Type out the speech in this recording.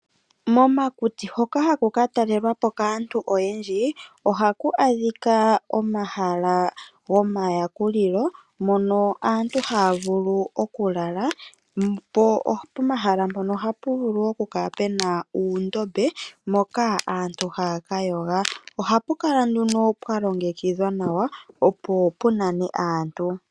Momakuti hoka haku ka talelwa po kaantu oyendji ohaku adhika omahala gomayakulilo mono aantu haya vulu okulala, po pomahala mpono ohapu vulu okukala pu na uundombe mpoka aantu haya ka yoga. Ohapu kala nduno pwa longekidhwa nawa opo pu nane aantu.